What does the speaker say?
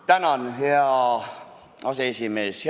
Tänan, hea aseesimees!